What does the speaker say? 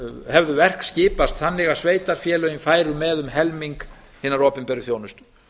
hefðu verk skipast þannig að sveitarfélögin færu með um helming hinnar opinberu þjónustu